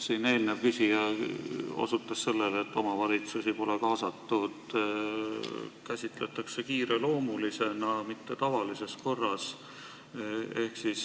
Eelmine küsija osutas sellele, et omavalitsusi pole kaasatud, eelnõu käsitletakse kiireloomulisena, mitte tavalises korras.